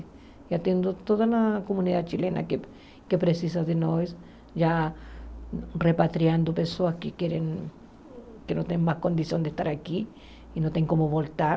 E atendo toda a comunidade chilena que precisa de nós, já repatriando pessoas que querem, que não tem mais condição de estar aqui e não tem como voltar.